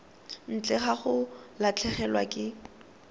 ntle ga go latlhegelwa ke